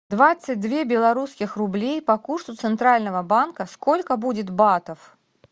двадцать две белорусских рублей по курсу центрального банка сколько будет батов